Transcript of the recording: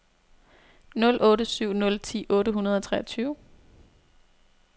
nul otte syv nul ti otte hundrede og treogtyve